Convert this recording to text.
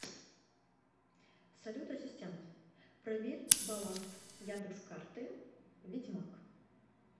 салют ассистент проверь баланс яндекс карты ведьмак